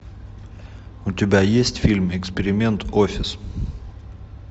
у тебя есть фильм эксперимент офис